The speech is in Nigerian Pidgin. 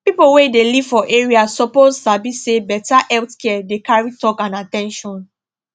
people wey dey live for area suppose sabi say better health care dey carry talk and at ten tion